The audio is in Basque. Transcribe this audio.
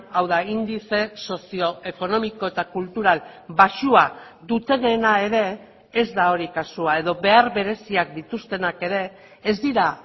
hau da indize sozioekonomiko eta kultural baxua dutenena ere ez da hori kasua edo behar bereziak dituztenak ere ez dira